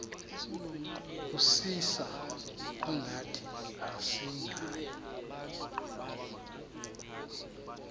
kusisa kungathi asingawo